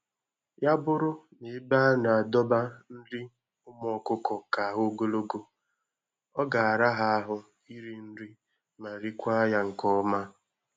Ya bụrụ n'ebe a na-adọba nri ụmụ ọkụkọ ka ha ogologo, ọ ga-ara ha ahụ iri nri ma riekwa ya nke ọma